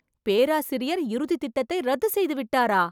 பேராசிரியர் இறுதி திட்டத்தை ரத்துச் செய்துவிட்டாரா?!